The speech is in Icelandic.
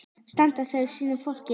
Standa með sínu fólki.